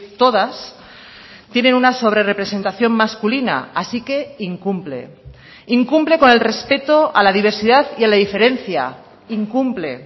todas tienen una sobrerrepresentación masculina así que incumple incumple con el respeto a la diversidad y a la diferencia incumple